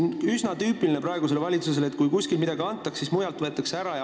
Üsna tüüpiline praegusele valitsusele on see, et kui kuskil midagi antakse, siis mujalt võetakse ära.